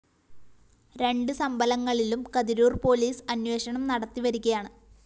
രണ്ട് സംഭലങ്ങളിലും കതിരൂര്‍ പോലീസ് അന്വേഷണം നടത്തിവരികയാണ്